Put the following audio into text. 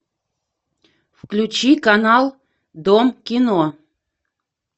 включи канал дом кино